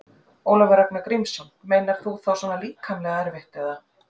Ólafur Ragnar Grímsson: Meinar þú svona líkamlega erfitt eða?